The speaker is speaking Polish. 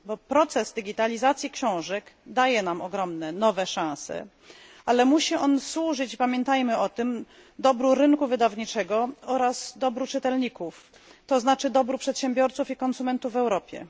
Proces digitalizacji książek daje nam ogromne, nowe szanse, ale musi on służyć i pamiętajmy o tym dobru rynku wydawniczego oraz dobru czytelników, to znaczy dobru przedsiębiorców i konsumentów w Europie.